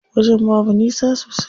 Wajen babu nisa sosai.